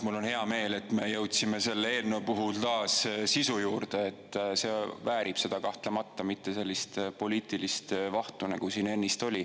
Mul on hea meel, et me jõudsime selle eelnõu puhul taas sisu juurde, see väärib seda kahtlemata, mitte sellist poliitilist vahtu, nagu siin ennist oli.